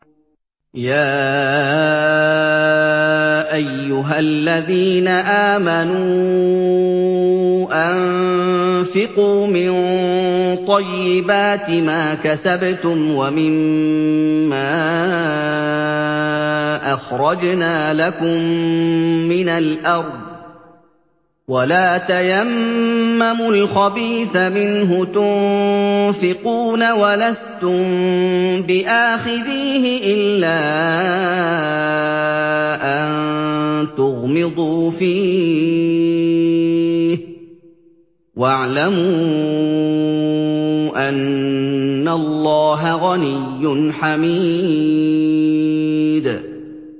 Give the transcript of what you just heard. يَا أَيُّهَا الَّذِينَ آمَنُوا أَنفِقُوا مِن طَيِّبَاتِ مَا كَسَبْتُمْ وَمِمَّا أَخْرَجْنَا لَكُم مِّنَ الْأَرْضِ ۖ وَلَا تَيَمَّمُوا الْخَبِيثَ مِنْهُ تُنفِقُونَ وَلَسْتُم بِآخِذِيهِ إِلَّا أَن تُغْمِضُوا فِيهِ ۚ وَاعْلَمُوا أَنَّ اللَّهَ غَنِيٌّ حَمِيدٌ